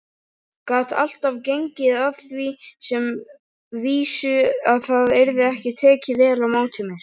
Gat alltaf gengið að því sem vísu að það yrði tekið vel á móti mér.